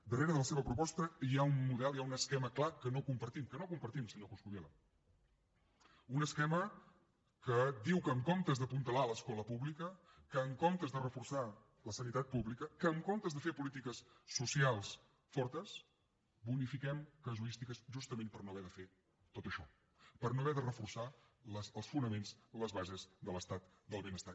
darrere de la seva proposta hi ha un model hi ha un esquema clar que no compartim que no compartim senyor coscubiela un esquema que diu que en comptes d’apuntalar l’escola pública que en comptes de reforçar la sanitat pública que en comptes de fer polítiques socials fortes bonifiquem casuístiques justament per no haver de fer tot això per no haver de reforçar els fonaments les bases de l’estat del benestar